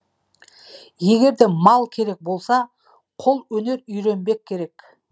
егерде мал керек болса қолөнер үйренбек керек